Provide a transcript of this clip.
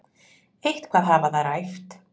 Eitthvað hafa þær æft.